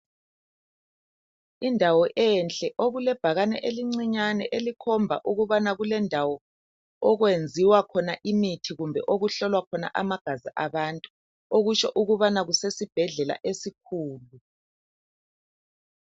Indawo enhle okulebhakane elincinyane elikhomba ukubana kulendawo okwenziwa khona imithi kumbe okuhlolwa khona amagazi abantu, okutsho ukubana kusesibhedlela esikhulu.